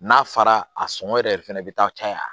N'a fara a sɔngɔ yɛrɛ fɛnɛ bɛ taa caya